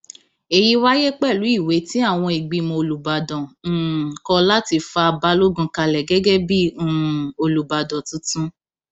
èyí wáyé pẹlú ìwé tí àwọn ìgbìmọ olùbàdàn um kọ láti fa balogun kalẹ gẹgẹ bíi um olùbàdàn tuntun